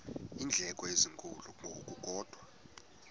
iindleko ezinkulu ngokukodwa